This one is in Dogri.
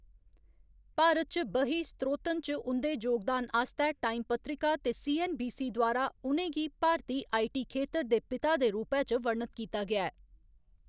भारत च बही, स्त्रोतन च उं'दे जोगदान आस्तै टाइम पत्रिका ते सी.ऐन्न.बी.सी. द्वारा उ'नें गी 'भारती आईटी खेतर दे पिता' दे रूपै च वर्णत कीता गेआ ऐ।